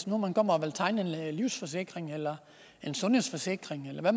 nu kommer og vil tegne en livsforsikring eller sundhedsforsikring eller